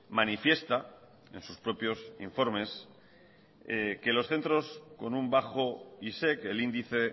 manifiesta en sus propios informes que los centros con un bajo y sé que el índice